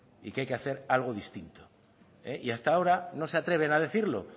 y que hay que hacer algo distinto y hasta ahora no se atreven a decirlo